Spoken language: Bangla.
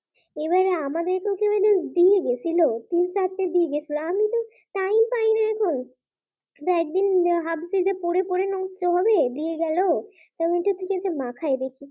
এবারে আমাদের তো কেউ একজন দিয়ে গিয়েছিল তিন-চারটেই দিয়ে গেছিল আমি তো time পাই না এখন। একদিন ভাবছি পড়ে পড়ে নষ্ট হবে দিয়ে গেল এবার মাথায় দেখি